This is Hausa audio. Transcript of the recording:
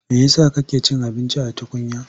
Me ya sa kake cin abinci a tukunya?